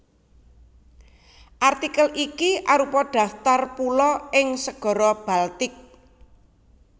Artikel iki arupa daftar pulo ing Segara Baltik